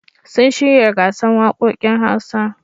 Sun shirya gasar waƙoƙin Hausa.